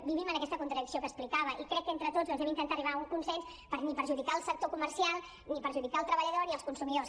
vivim en aquesta contradicció que expli·cava i crec que entre tots doncs hem d’intentar arribar a un consens per ni perjudi·car el sector comercial ni perjudicar el treballador ni els consumidors